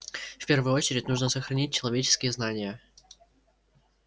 в первую очередь нужно сохранить человеческие знания